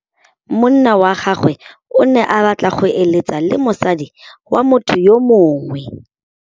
Monna wa gagwe o ne a batla go êlêtsa le mosadi wa motho yo mongwe.